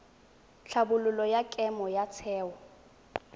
tlhabololo ya kemo ya theo